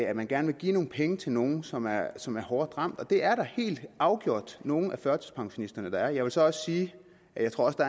at man gerne vil give nogle penge til nogen som er som er hårdt ramt og det er der helt afgjort nogle af førtidspensionisterne der er jeg vil så også sige at jeg tror der